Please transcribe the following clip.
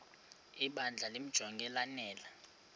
ibandla limjonge lanele